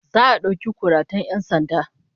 Za'a dauki kuratan 'yan sanda